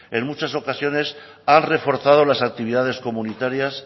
en muchas ocasiones han reforzado las actividades comunitarias